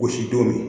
Gosi don min